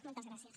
moltes gràcies